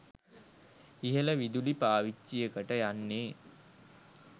ඉහළ විදුලි පාවිච්චියකට යන්නේ